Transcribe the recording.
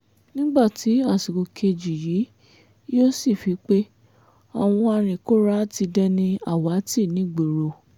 nígbà tí àsìkò kejì yìí yóò sì fi pe àwọn anìkóra ti dẹni àwátì nìgboro